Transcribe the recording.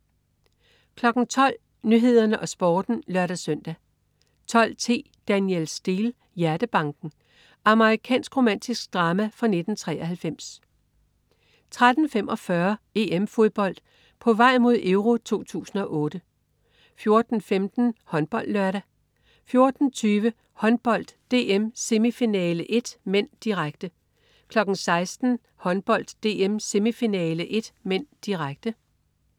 12.00 Nyhederne og Sporten (lør-søn) 12.10 Danielle Steel: Hjertebanken. Amerikansk romantisk drama fra 1993 13.45 EM-Fodbold: På vej mod EURO 2008 14.15 HåndboldLørdag 14.20 Håndbold: DM-semifinale 1 (m), direkte 16.00 Håndbold: DM-semifinale 1 (m), direkte